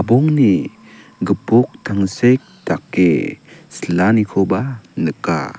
gipok tangsek dake silanikoba nika.